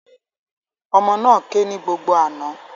Ọmọ náà ké ní gbogbo àná